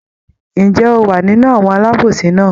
Ǹjẹ́ ó wa nínú àwọn alábòsí náà?